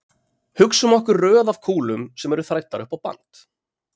Hugsum okkur röð af kúlum sem eru þræddar upp á band.